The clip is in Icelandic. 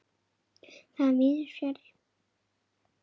Það er víðs fjarri.